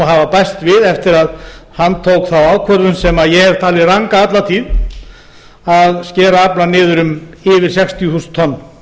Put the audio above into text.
hafa bæst við eftir að hann tók þá ákvörðun sem ég hef talið ranga alla tíð að skera aflann niður um yfir sextíu þúsund tonn